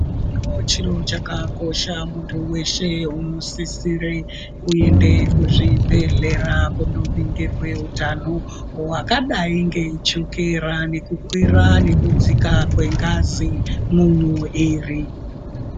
Chiro chakakosha muntu weshe unisisire kuende kuzvibhedhlera kunoningirwe utano hwakadai ngechokera ,nekukwira nekudzika kwengazi mumwiri.